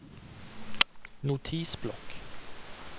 notisblokk